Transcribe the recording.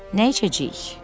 Nə içəcəyik?